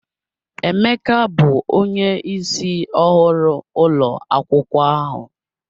Emeka bụ onye ịsị ọhụrụ ụlọ akwụkwọ ahu